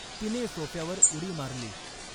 तिने सॊफ्यावर उडी मारली.